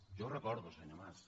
jo ho recordo senyor mas